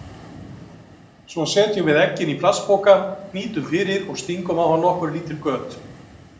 Svo setjum við eggin í plastpoka, hnýtum fyrir og stingum á hann nokkur lítil göt.